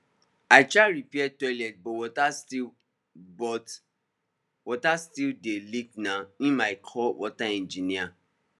i try repair toilet but water still but water still dey leakna im i call water engineer